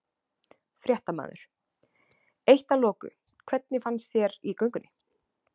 Fréttamaður: Eitt að loku, hvernig fannst þér í göngunni?